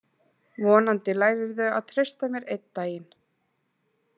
Vonandi lærirðu að treysta mér einn daginn.